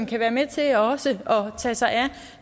kan være med til også at tage sig af